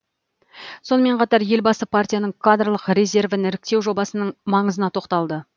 сонымен қатар елбасы партияның кадрлық резервін іріктеу жобасының маңызына тоқталды